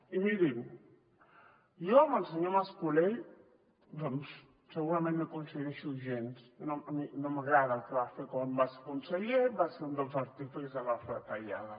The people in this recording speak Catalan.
i mirin jo amb el senyor mascolell doncs segurament no hi coincideixo gens no m’agrada el que va fer quan va ser conseller va ser un dels artífexs de les retallades